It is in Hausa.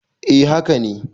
A haka ne